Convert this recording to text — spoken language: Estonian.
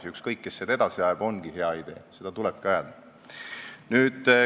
Ja ükskõik, kes seda edasi ajab, see ongi hea idee – seda tulebki ajada.